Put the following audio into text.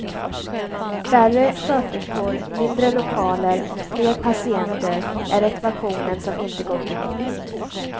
Färre sköterskor, mindre lokaler och fler patienter är ekvationen som inte gått ihop.